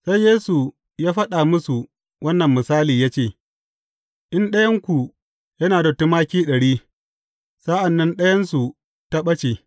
Sai Yesu ya faɗa musu wannan misali ya ce, In ɗayanku yana da tumaki ɗari, sa’an nan ɗayansu ta ɓace.